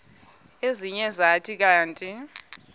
ezinye zathi kanti